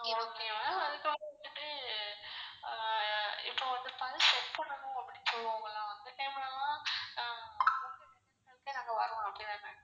Okay ma'am அதுக்குள்ள வந்துட்டு அஹ் இப்போ வந்து பல் check பண்ணனும் அப்டினு சொல்லுவாங்களா அந்த time லலாம்